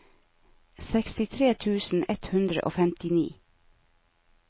sekstitre tusen ett hundre og femtini